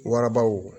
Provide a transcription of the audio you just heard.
Warabaw